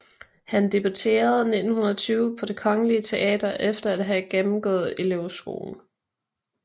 Han debuterede 1920 på Det kongelige Teater efter at have gennemgået elevskolen